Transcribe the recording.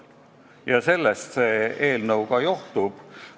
Ja sellest see eelnõu ka johtub.